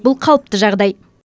бұл қалыпты жағдай